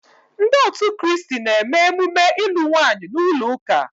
Ndi otu kristi na-eme emume ilu nwaanyi n'ulo uka